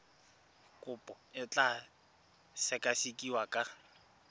kopo e tla sekasekiwa ka